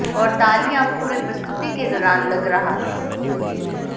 और तालियां पूरे प्रस्तुति के दौरान लग रहा था